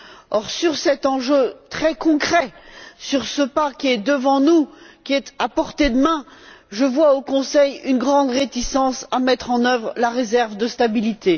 Or, sur cet enjeu très concret, sur ce pas qui est devant nous, à portée de main, je vois au Conseil une grande réticence à mettre en œuvre la réserve de stabilité.